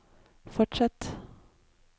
fortsett